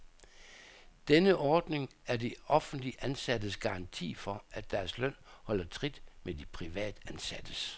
Denne ordning er de offentligt ansattes garanti for, at deres løn holder trit med de privatansattes.